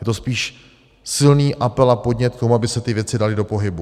Je to spíš silný apel a podnět k tomu, aby se ty věci daly do pohybu.